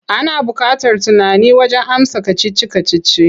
Ana buƙatar tunani wajen amsa kacici-kacici.